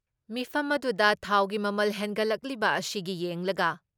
ꯃꯤꯐꯝ ꯑꯗꯨꯗ ꯊꯥꯎꯒꯤ ꯃꯃꯜ ꯍꯦꯟꯒꯠꯂꯛꯂꯤꯕ ꯑꯁꯤꯒꯤ ꯌꯦꯡꯂꯒ